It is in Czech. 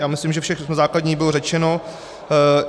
Já myslím, že všechno základní bylo řečeno.